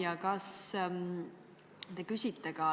Ja kas te küsite ka